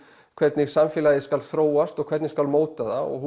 hvernig samfélagið skal þróast og hvernig skal móta það og